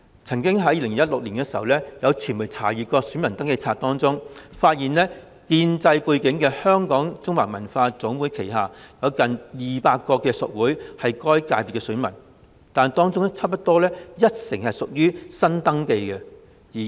在2016年，曾經有傳媒查閱選民登記冊，發現具建制背景的香港中華文化總會旗下，有近200個屬會為文化界的選民，但差不多有一成屬於新登記。